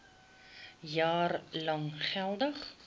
jaar lank geldig